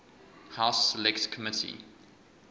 house select committee